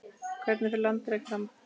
Hvernig fer landrek fram?